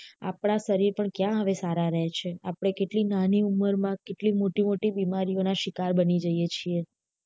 આપડા શરીર પણ ક્યાં હવે સારા રે છે આપડે કેટલી નાની ઉંમર માં કેટલી મોટી મોટી બીમારી ઓ ના શિકાર બની જઇયે છીએ